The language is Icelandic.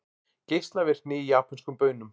Geislavirkni í japönskum baunum